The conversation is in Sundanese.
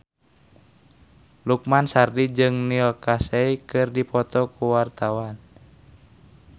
Lukman Sardi jeung Neil Casey keur dipoto ku wartawan